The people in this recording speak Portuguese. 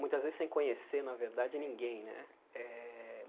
muitas vezes sem conhecer, na verdade, ninguém, né? Eh